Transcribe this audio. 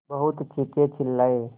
बहुत चीखेचिल्लाये